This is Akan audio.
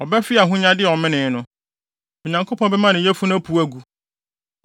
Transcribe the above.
Ɔbɛfe ahonyade a ɔmenee no; Onyankopɔn bɛma ne yafunu apuw agu.